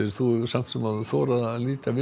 þú hefur alveg þorað að líta við